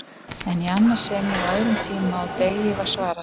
En í annað sinn og á öðrum tíma og degi var svarað.